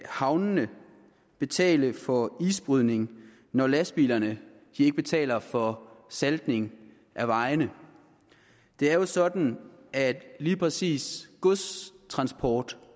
havnene betale for isbrydning når lastbilerne ikke betaler for saltning af vejene det er jo sådan at lige præcis godstransport